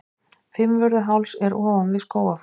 Fimmvörðuháls er ofan við Skógafoss.